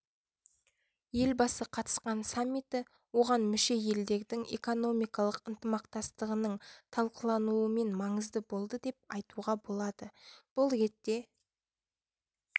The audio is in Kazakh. елбасы қатысқан саммиті оған мүше елдердің экономикалық ынтымақтастығының талқылануымен маңызды болды деп айтуға болады бұл ретте